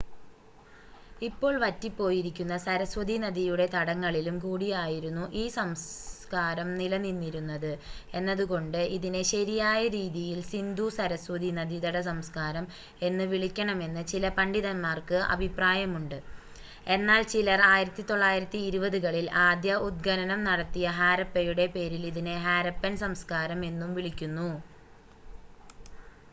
ഇപ്പോൾ വറ്റിപ്പോയിരിക്കുന്ന സരസ്വതീനദിയുടെ തടങ്ങളിലും കൂടിയായിരുന്നു ഈ സംസകാരം നിലനിന്നിരുന്നത് എന്നതുകൊണ്ട് ഇതിനെ ശരിയായ രീതിയിൽ സിന്ധു സരസ്വതീ നദീതട സംസ്കാരം എന്ന് വിളിക്കണമെന്ന് ചില പണ്ഡിതന്മാർക്ക് അഭിപ്രായമുണ്ട് എന്നാൽ ചിലർ 1920 കളിൽ ആദ്യ ഉത്ഖനനംനടത്തിയ ഹാരപ്പയുടെ പേരിൽ ഇതിനെ ഹാരപ്പൻ സംസ്കാരം എന്നും വിളിക്കുന്നു